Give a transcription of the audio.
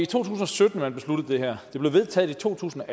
tusind og sytten man besluttede det her og det blev vedtaget i to tusind og